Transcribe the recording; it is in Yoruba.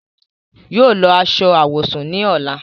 Yóò lọ aṣọ awọsún ni ọla.